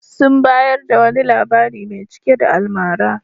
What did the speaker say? Sun bayar da wani labari mai cike da almara.